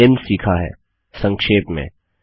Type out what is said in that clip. हमने निम्न सीखा है संक्षेप में